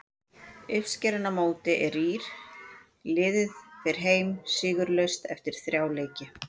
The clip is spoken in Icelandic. Uppskeran á mótinu er rýr, liðið fer heim stigalaust eftir þrjá leiki.